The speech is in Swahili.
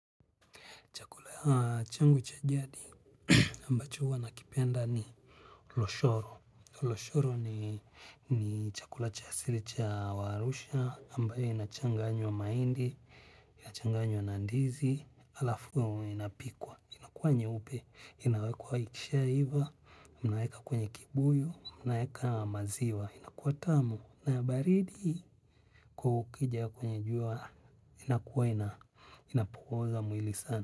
Chakula ya changu cha jadi ambacho huwa nakipenda ni loshoro. Loshoro ni chakula cha siri cha warusha ambayo inachanganywa maindi, inachanganywa nandizi, alafuwa inapikwa. Inakuwa nye upe, inawekwa ikishia hiva, munaeka kwenye kibuyo, munaeka maziwa. Inakuwa tamu na ya baridi, hasa kukiwa na jua, inapoza mwili sana.